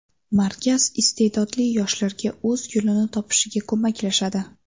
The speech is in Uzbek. Markaz iste’dodli yoshlarga o‘z yo‘lini topishiga ko‘maklashadi.